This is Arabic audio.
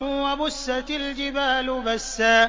وَبُسَّتِ الْجِبَالُ بَسًّا